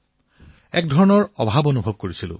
কিবা এটা যেন নাই তেনে অনুভৱ হৈছিল